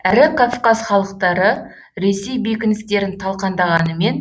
әрі кавказ халықтары ресей бекіністерін талқандағанымен